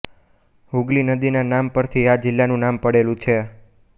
હુગલી નદીના નામ પરથી આ જિલ્લાનું નામ પડેલું છે